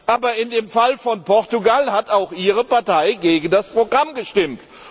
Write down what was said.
Aber im Fall von Portugal hat auch Ihre Partei gegen das Programm gestimmt.